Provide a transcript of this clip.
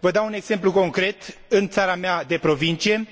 Vă dau un exemplu concret, în țara mea de proveniență,